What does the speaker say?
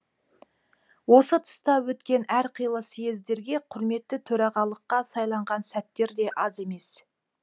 осы тұста өткен әр қилы съездерге құрметті төрағалыққа сайланған сәттері де аз емес